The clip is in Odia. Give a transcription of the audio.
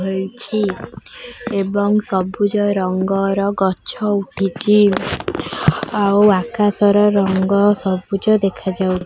ଏହି ଟି ଏବଂ ସବୁଜ ରଙ୍ଗର ଗଛ ଉଠିଛି। ଆଉ ଆକାଶ ରଙ୍ଗ ସବୁଜ ଦେଖା ଯାଉଛି।